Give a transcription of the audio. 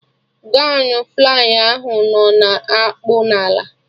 Gọwn flay ahụ nọ na-akpụ n'ala